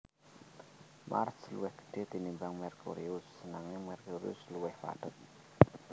Mars luwih gedhé tinimbang Merkurius nanging Merkurius luwih padhet